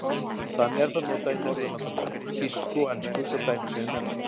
Þannig er það notað í Norðurlandamálum, þýsku og ensku svo dæmi séu nefnd.